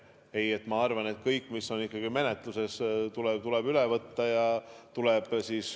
Ei, ma arvan, et kõik, mis on menetluses, tuleb ikkagi üle võtta.